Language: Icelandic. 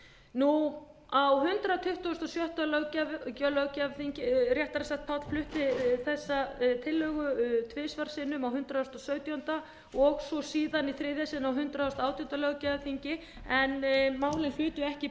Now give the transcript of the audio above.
á hundrað tuttugasta og sjötta löggjafarþingi réttara sagt páll flutti þessa tillögu tvisvar sinnum á hundrað og sautjándu og svo síðan í þriðja sinn á hundrað og átjándu löggjafarþingi en málin hlutu ekki